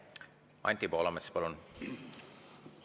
Anti Poolamets, palun!